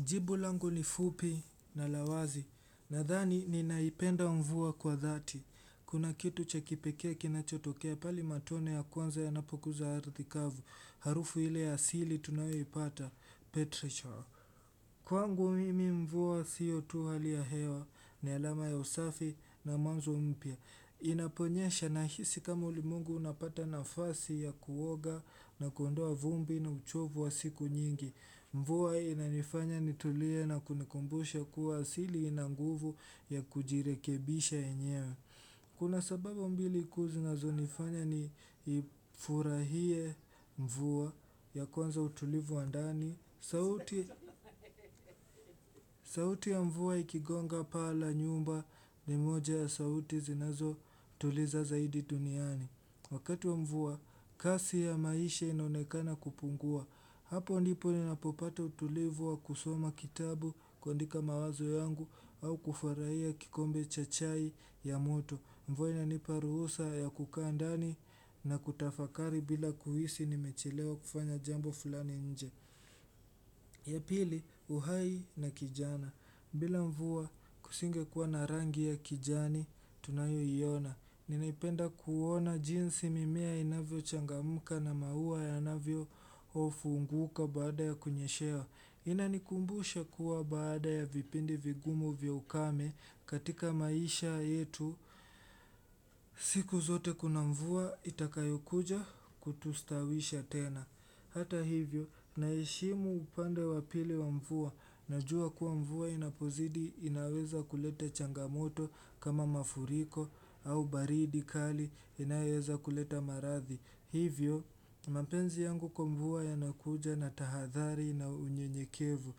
Jibu langu ni fupi na la wazi, nadhani ninaipenda mvua kwa dhati. Kuna kitu cha kipekee kinachotokea pale matone ya kwanza yanapoguza ardhi kavu. Harufu ile asili tunayoipata, Petrichor. Kwangu mimi mvua sio tu hali ya hewa, ni alama ya usafi na mwanzo mpya. Inaponyesha nahisi kama ulimwengu unapata nafasi ya kuoga na kuondoa vumbi na uchovu wa siku nyingi. Mvua inanifanya nitulie na kunikumbusha kuwa asili ina nguvu ya kujirekebisha yenyewe. Kuna sababu mbili kuu zinazonifanya niifurahie mvua. Ya kwanza utulivu wa ndani. Sauti ya mvua ikigonga paa la nyumba ni moja ya sauti zinazotuliza zaidi duniani. Wakati wa mvua, kasi ya maisha inonekana kupungua. Hapo ndipo ninapopata utulivu wa kusoma kitabu, kuandika mawazo yangu au kufurahia kikombe cha chai ya moto. Mvua inanipa ruhusa ya kukaa ndani na kutafakari bila kuhisi nimechelewa kufanya jambo fulani nje. Ya pili, uhai na kijana. Bila mvua kusingekuwa na rangi ya kijani, tunayoiona. Ninaipenda kuona jinsi mimea inavyochangamka na maua yanavyofunguka baada ya kunyeshewa. Inanikumbusha kuwa baada ya vipindi vigumu vya ukame katika maisha yetu siku zote kuna mvua itakayo kuja kutustawisha tena. Hata hivyo, naheshimu upande wa pili wa mvua, najua kuwa mvua inapozidi inaweza kuleta changamoto kama mafuriko au baridi kali inayoweza kuleta maradhi. Hivyo, mapenzi yangu kwa mvua yanakuja na tahadhari na unyenyekevu.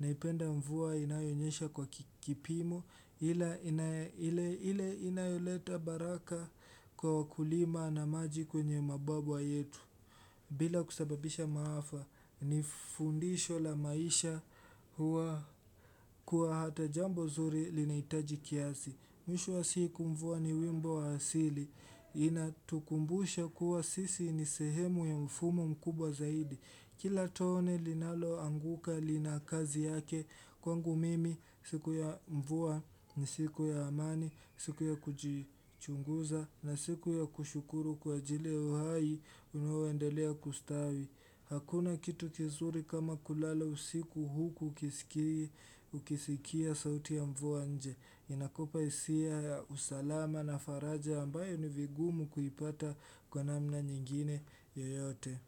Naipenda mvua inayonyesha kwa kipimo ila inayoleta baraka kwa wakulima na maji kwenye mababwa yetu. Bila kusababisha maafa, ni fundisho la maisha huwa kuwa hata jambo zuri linahitaji kiasi. Mwisho wa siku mvua ni wimbo wa asili. Inatukumbusha kuwa sisi ni sehemu ya mfumo mkubwa zaidi. Kila tone linaloanguka lina kazi yake, kwangu mimi siku ya mvua ni siku ya amani, siku ya kujichunguza na siku ya kushukuru kwa ajili ya uhai unaoendelea kustawi. Hakuna kitu kizuri kama kulala usiku huku ukisikia sauti ya mvua nje. Inakupa hisia ya usalama na faraja ambayo ni vigumu kuipata kwa namna nyingine yoyote.